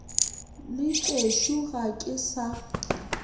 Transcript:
le tšešo ga ke sa